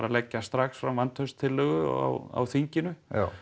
leggja strax fram vantrauststillögu á þinginu